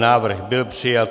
Návrh byl přijat.